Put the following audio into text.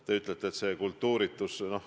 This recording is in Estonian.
Te ütlete, et see on kultuuritus.